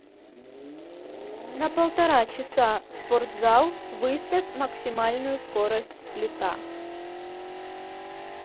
на полтора часа спортзал выставь максимальную скорость сплита